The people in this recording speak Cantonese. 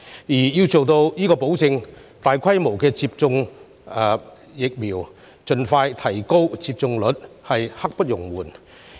為了達成這個目標，大規模接種疫苗、盡快提升疫苗接種率實在刻不容緩。